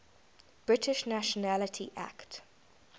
british nationality act